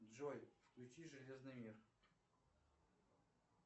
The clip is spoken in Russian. джой включи железный мир